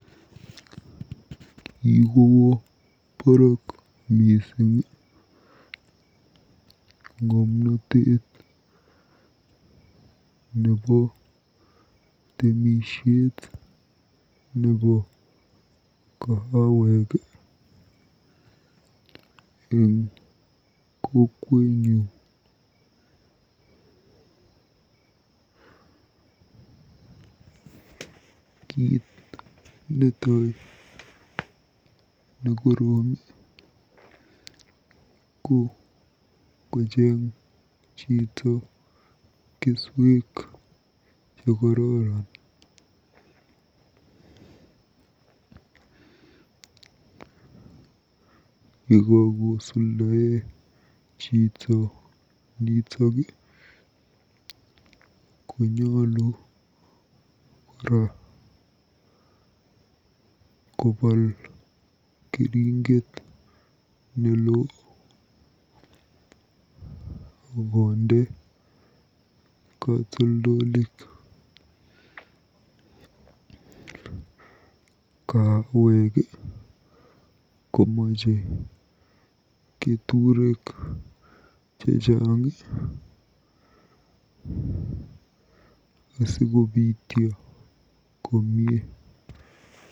Kikowo baraak mising ng'omnotet nebo temisiet nebo kahawek eng kokwenyu. Kiit netai nekorom ko kocheng choto keswek chekororon. Yekakosuldae chito nitok konyolu kora kopal keringet neloo akonde katoldolik. Kahawek komache keturek chechang asikobityo komie.